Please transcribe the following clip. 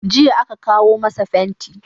Jiya aka kawo masa fenti.